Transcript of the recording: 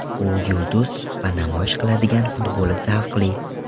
U yulduz va namoyish qiladigan futboli zavqli.